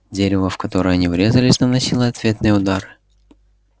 дерево в которое они врезались наносило ответные удары